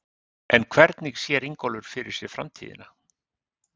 En hvernig sér Ingólfur fyrir sér framtíðina?